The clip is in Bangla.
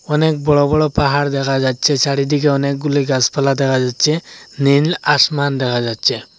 অনেক বড় বড় পাহাড় দেখা যাচ্চে চারিদিকে অনেকগুলি গাসপালা দেখা যাচ্চে নীল আসমান দেখা যাচ্চে।